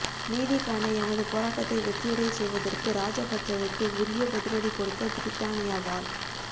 நீதிக்கான எமது போராட்டத்தை வெற்றியடையச் செய்வதற்கு ராஜபச்சவுக்கு உரிய பதிலடி கொடுக்க பிரித்தானியாவாழ்